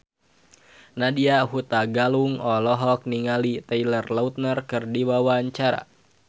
Nadya Hutagalung olohok ningali Taylor Lautner keur diwawancara